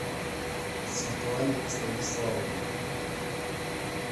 светлане станиславовне